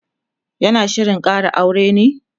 yana Shirin Kara aure ne?